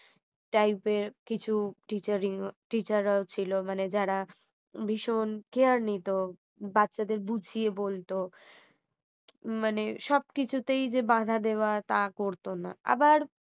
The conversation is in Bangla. type এর কিছু teachering teacher রাও ছিল মানে যারা ভীষণ care নিত বাচ্চাদের বুঝিয়ে বলতো মানে সবকিছুতেই যে বাধা দেওয়া তা করত না আবার